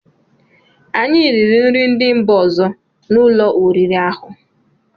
Anyị riri nri ndị mba ọzọ n'ụlọ oriri ahụ.